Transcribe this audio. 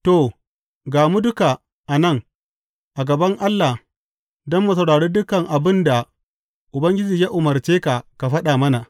To ga mu duka a nan a gaban Allah don mu saurari dukan abin da Ubangiji ya umarce ka ka faɗa mana.